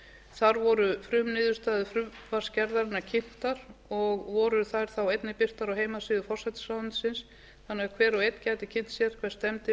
þar voru frumniðurstaða frumvarpsgerðarinnar kynntar og voru þær þá einnig birtar á heimasíðu forsætisráðuneytisins þannig að hver og einn gæti kynnt sér hvert stefndi